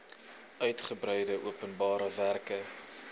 uigebreide openbare werke